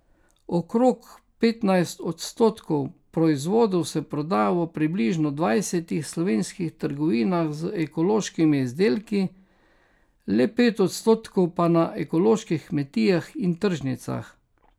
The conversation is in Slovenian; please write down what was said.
Okrog petnajst odstotkov proizvodov se proda v približno dvajsetih slovenskih trgovinah z ekološkimi izdelki, le pet odstotkov pa na ekoloških kmetijah in tržnicah.